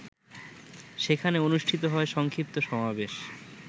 সেখানে অনুষ্ঠিত হয় সংক্ষিপ্ত সমাবেশ।